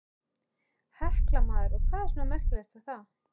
Hekla maður, og hvað er svona merkilegt við það.